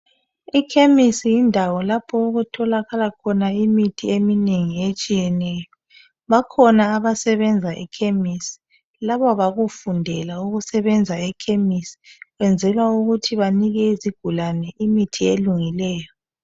Ekhemisi yindawo lapho ukutholakala khona imithi eminengi etshiyeneyo. Bakhona abasebenza ekhemisi ,laba bakufundela ukusebenza ekhemisi. Kwenzelwa ukuthi banike izigulane imithi elungileyo.